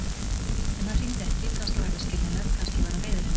En hann hringdi ekki, kannski var það skiljanlegt, kannski var hann reiður henni.